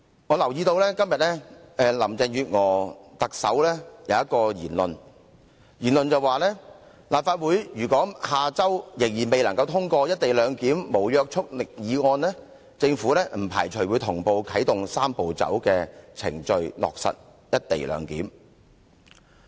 我留意到特首林鄭月娥今天的一番言論，她說立法會如果下周仍然未能通過"一地兩檢"無約束力議案，政府不排除同步啟動"三步走"程序，落實"一地兩檢"。